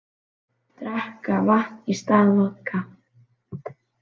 Drekka vatn í stað vodka